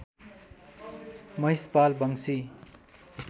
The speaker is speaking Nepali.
महिषपाल वंशी